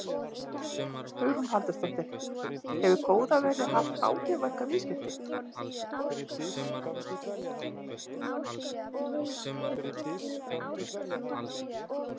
Hugrún Halldórsdóttir: Hefur góða veðrið haft áhrif á ykkar viðskipti?